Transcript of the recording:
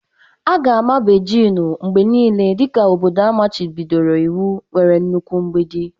Aga-ama Bejin mgbe niile dị ka obodo amachibidoro iwu nwere nnukwu mgbidi.